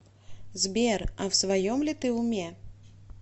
сбер а в своем ли ты уме